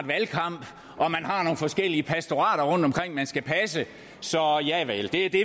valgkamp og at man har nogle forskellige pastorater rundtomkring man skal passe så javel det er det